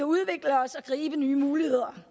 udvikle os og gribe nye muligheder